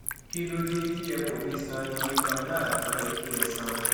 kí ló dé tí ẹ kò fi san iye kan náà tó yẹ kí ẹ san